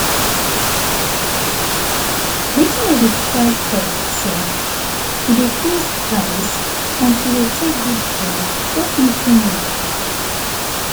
watin i dey try talk be say to dey close eyes and to dey take deep breath shock me finish oo.